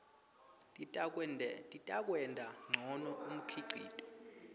titakwenta ngcono umkhicito